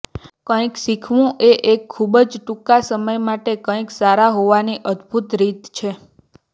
કંઈક શીખવું એ એક ખૂબ જ ટૂંકા સમય માટે કંઇક સારા હોવાની અદ્ભુત રીત છે